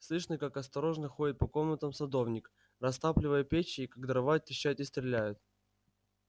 слышно как осторожно ходит по комнатам садовник растапливая печи и как дрова трещат и стреляют